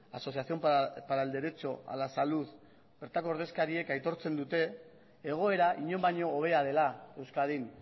asociación para el derecho a la salud bertako ordezkariek aitortzen dute egoera inon baino hobea dela euskadin